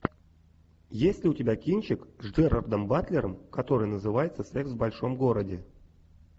есть ли у тебя кинчик с джерардом батлером который называется секс в большом городе